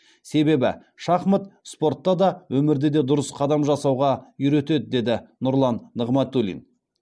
себебі шахмат спортта да өмірде де дұрыс қадам жасауға үйретеді деді нұрлан нығматулин